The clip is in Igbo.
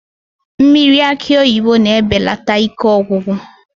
Mmiri akị oyibo na-ebelata ike ọgwụgwụ